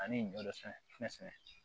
Ani ɲɔ dɔ sɛnɛ fɛn sɛgɛn